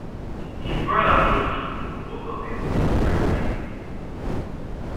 im brother just show both of dem come prep night food